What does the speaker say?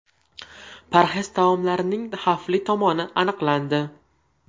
Parhez taomlarning xavfli tomoni aniqlandi.